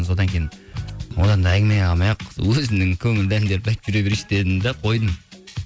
содан кейін одан да әңгіме қылмай ақ өзімнің көңілді әндерді айтып жүре берейінші дедім де қойдым